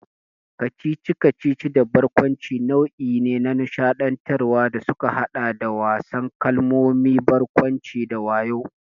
Kacici-kacici da barkwanci nau'i ne na nishaɗantarwa da suka haɗa da wasan kalmomi, barkwanci, da wayo.